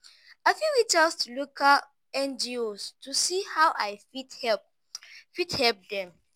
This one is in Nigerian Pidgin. i fit reach out to local ngos to see how i fit help fit help dem.